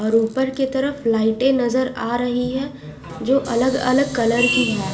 और ऊपर के तरफ लाईटे नजर आ रही है जो अलग अलग कलर की है।